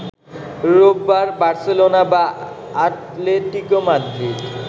রোববার বার্সেলোনা বা Atletico Madrid